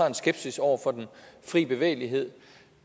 en skepsis over for den frie bevægelighed